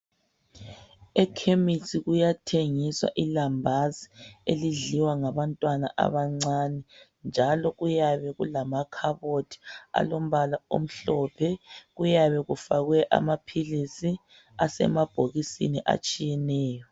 Ekhemisi kuyathengiswa ilambazi elidliwa ngabantwana abancane njalo kuyabe kulamakhaboti alombala omhlophe kuyabe kufakwe amaphilisi asemabhokisini atshiyeneyo